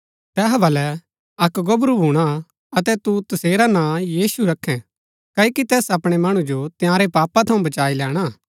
तैहा बलै अक्क गोबरू भूणा अतै तू तसेरा नां यीशु रखैं क्ओकि तैस अपणै मणु जो तंयारै पापा थऊँ बचाई लैणा